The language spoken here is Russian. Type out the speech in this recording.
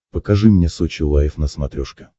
покажи мне сочи лайв на смотрешке